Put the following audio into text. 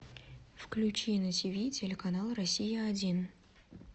включи на тиви телеканал россия один